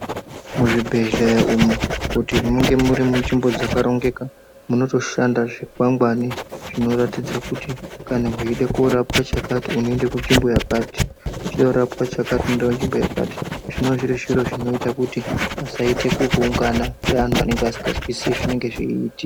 Muzvibhedhlera umu kuti munge muri munzvimbo dzakarongeka munotoshanda zvikwangwari zvinoratidze kuti kana weide korapwa chakati unoenda kunzvimbo yakati uchida kurapwa chakati unoenda kunzvimbo yakati zvinova zviri zviro zvinoita kuti pasaite kuunga keanhu anenge asingazwisisi zvinenge zveiitika.